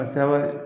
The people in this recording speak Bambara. A sɛbɛn